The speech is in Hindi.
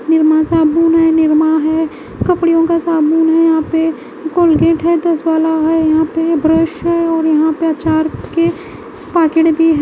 निरमा साबुन है निरमा है कपड़ों का साबुन है यहां पे कोलगेट है दस वाला है यहां पे ब्रश है और यहां पे अचार के पॉकेट भी--